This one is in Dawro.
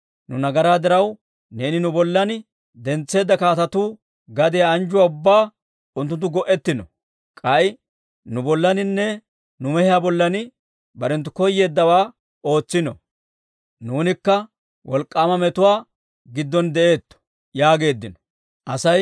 Nu nagaraa diraw, neeni nu bollan dentseedda kaatetuu gadiyaa anjjuwaa ubbaa unttunttu go"ettiino. K'ay nu bollaaninne nu mehiyaa bollan barenttu koyeeddawaa ootsino; nuunikka wolk'k'aama metuwaa giddon de'eetto» yaageeddino.